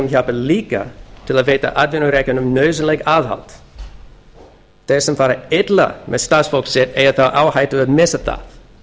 hjálpar líka til við að veita atvinnurekendum nauðsynlegt aðhald þeir sem fara illa með starfsfólk sitt eiga þá á hættu að missa það